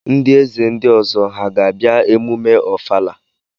Ndị eze ndị ọzọ ha ga-abịa emume ọfala?